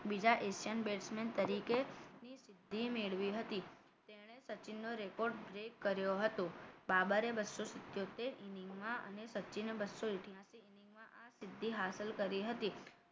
બીજા Asian batsman તરીકે ની સિદ્ધિ મેળવી હતી તેણે સચિન નો record break કર્યો હતો બાબરે બસો સીતોતેર inning માં અને સચિને બસો અઢયાસી inning માં આ સિદ્ધિ હાન્સલ કરી હતી